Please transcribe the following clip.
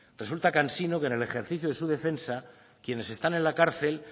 resulta cansino que en el ejercicio de su defensa quienes están en la cárcel